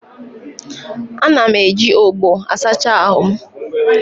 Ana m eji ogbó asacha ahụ m.